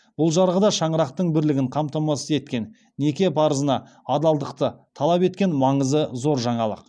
бұл жарғы да шаңырақтың бірлігін қамтамасыз еткен неке парызына адалықты талап еткен маңызы зор жаңалық